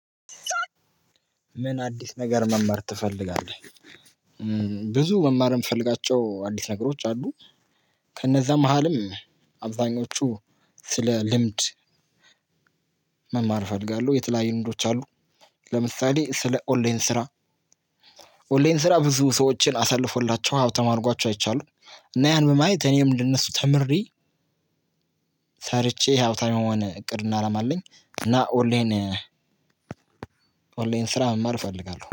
ምን አዲስ ነገር መማር ትፈልጋለህ? ብዙ መማር የምፈልጋቸው አዲስ ነገሮች አሉ። ከነዛ መሃልም አብዛኞቹ ስለ ልምድ። እፈልጋለሁ የተለያዩ ልምዶች አሉ። ለምሳሌ ስለ ኦንላይን ስራ። ኦንላይን ስራ ብዙ ሰዎችን አሳልፎላቸው ሀብታም አድርጓቸው አይቻለሁ። እና ያን በማየት እኔም እንደነሱ ተምሬ። ሰርቼ ሃብታም የመሆን እቅድ እና አላማ አለኝ። እና ኦንላይን ኦንላይን ስራ መማር እፈልጋለሁ